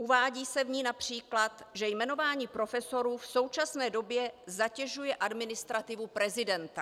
Uvádí se v ní například, že jmenování profesorů v současné době zatěžuje administrativu prezidenta.